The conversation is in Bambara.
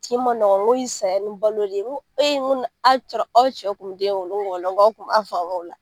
Tin man nɔgɔ, n ko ye saya ni balo de ye. N ko ee , n ko n'a sɔrɔ aw cɛw kun be den wolo wa aw kun ba famuya o la.